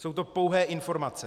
Jsou to pouhé informace.